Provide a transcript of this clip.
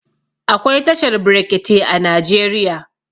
Akwai tashar brekete a Najeriya.